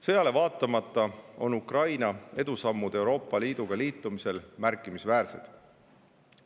Sõjale vaatamata on Ukraina edusammud Euroopa Liiduga liitumisel märkimisväärsed.